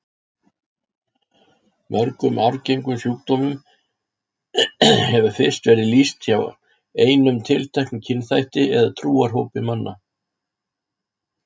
Mörgum arfgengum sjúkdómum hefur fyrst verið lýst hjá einum tilteknum kynþætti eða trúarhópi manna.